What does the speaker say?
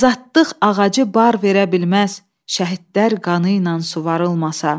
Azadlıq ağacı bar verə bilməz şəhidlər qanı ilə suvarılmasa.